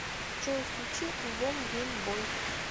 джой включи альбом гейм бой